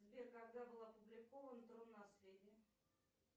сбер когда был опубликован трон наследия